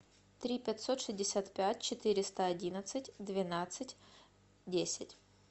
три пятьсот шестьдесят пять четыреста одиннадцать двенадцать десять